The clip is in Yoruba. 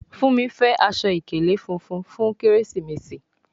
Fúnmi fè Aṣọ ìkèlé fúnfún fún Kérésìmesì.